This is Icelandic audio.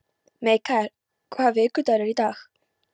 Mikael, hvaða vikudagur er í dag?